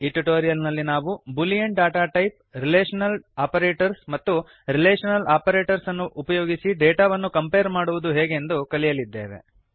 ಈ ಟ್ಯುಟೋರಿಯಲ್ ನಲ್ಲಿ ನಾವು Boolean data type relational operators ಮತ್ತು ರಿಲೇಷನಲ್ ಆಪರೇಟರ್ಸ್ ಅನ್ನು ಉಪಯೋಗಿಸಿ ಡೇಟಾವನ್ನು ಕಂಪೇರ್ ಮಾಡುವುದು ಹೇಗೆಂದು ಕಲಿಯಲಿದ್ದೇವೆ